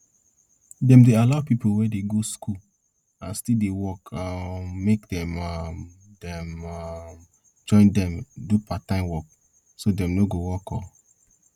dem dey allow people we dey go school and still dey work um make dem um dem um join dem do parttime work so dem nor go work all